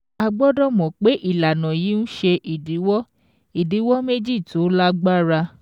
A gbọ́dọ̀ mọ̀ pé ìlànà yìí ń ṣe ìdíwọ́ ìdíwọ́ méjì tó lágbára.